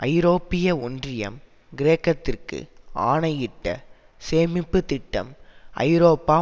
ஐரோப்பிய ஒன்றியம் கிரேக்கத்திற்கு ஆணையிட்ட சேமிப்பு திட்டம் ஐரோப்பா